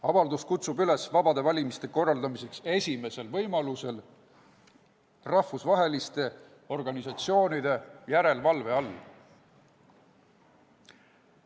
Avaldus kutsub üles korraldama esimesel võimalusel vabad valimised rahvusvaheliste organisatsioonide järelevalve all.